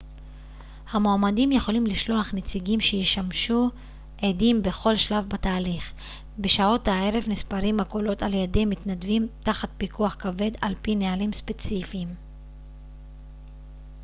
המועמדים יכולים לשלוח נציגים שישמשו עדים בכל שלב בתהליך בשעות הערב נספרים הקולות על ידי מתנדבים תחת פיקוח כבד על פי נהלים ספציפיים